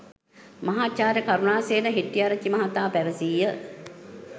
මහාචාර්ය කරුණාසේන හෙටිටිආරචිචි මහතා පැවසීය.